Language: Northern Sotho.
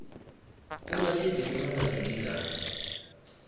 o latetšwe ke molatodi ka